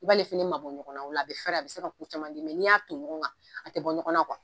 I b'ale fɛnɛ ma bɔ ɲɔgɔn na o la a be fɛɛrɛ a be se ka ku caman di n'i y'a ton ɲɔgɔn kan a te bɔ ɲɔgɔn na